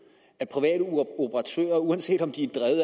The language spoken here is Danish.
at private operatører uanset om de